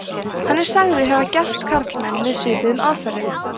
hann er sagður hafa gelt karlmenn með svipuðum aðferðum